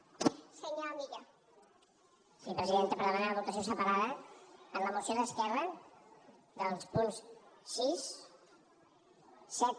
sí presidenta per demanar votació separada en la moció d’esquerra dels punts sis set